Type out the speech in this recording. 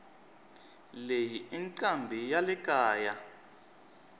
leyi incambi yalekaya